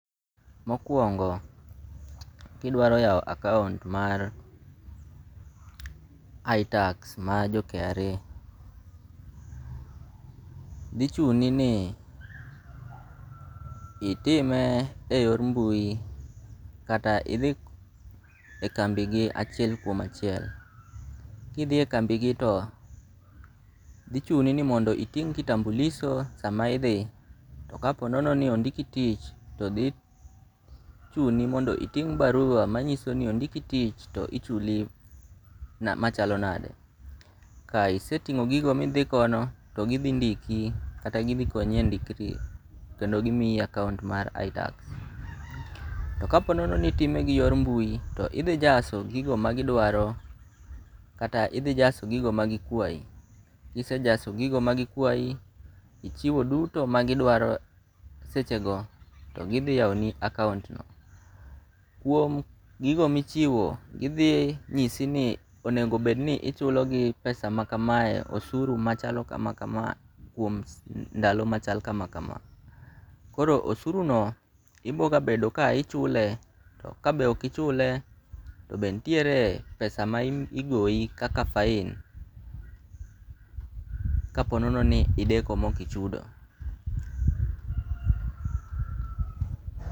Mokuongo ki idwaro yawo akaunt mar itax mar jo kra dhi chuni ni itime e yor mbui kata idhi e kambi gi achiel kuom achile, ki idhi e kambi gi to dhi chuni ni mondo iting' kitambulisho sa ma idhi. To ka po ni ondiki to dhi chuni ni mondo iting' barua ma ng'iso ni ondiki tich to ichuli ma chalo nade. Ka iseting'o gigo ma idhi kono to gi dhi ndiki kata gi dhi konyi e ndikori kendo gimiyi akaunt ma r itax to ka po ni itime gi yor mbui to idhi jaso gigo ma gi dwaro kata idhi dhi jaso gigo duto ma gi kwayi kise jaso gigo ma gi kwayi ichiwo duto ma gi dwaro seche go to gi dhi yawo ni akaunt no. Kuom gigo mi ichiwo, idhi ng'isi ni onego bed ni ichulo gi pesa ma ka ma osuru ma chalo ka ma kama kuom ndalo ma ka ma ka . Osuru no ibiro bedo ki ichule to ka be ok ichulo to be nitiere pesa ma igoyi kaka fain ka po ni ideko ma ok ichudo.